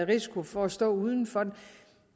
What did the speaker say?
risiko for at stå uden